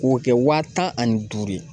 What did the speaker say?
K'o kɛ wa tan ani duuru ye.